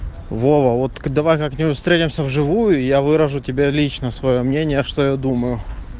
вова вот к давай как-нибудь встретимся в живую и я выражу тебя лично своё мнение что я думаю